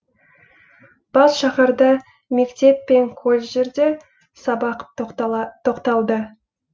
бас шаһарда мектеп пен колледждерде сабақ тоқталды